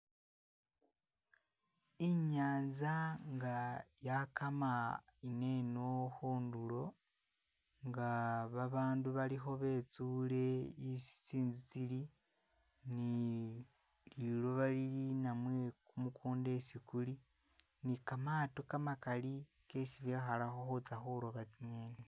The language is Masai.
Inyanza nga yakama ineno khundulo nga ba'bandu balikho betsule isi tsi'nzu tsili ni liloba lili namwe kumukunda isi kuli nikamato kamakali kesi bekhalakho khutsya khuloba tsinyeni